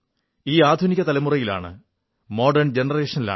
ഈ ആധുനിക തലമുറയിൽ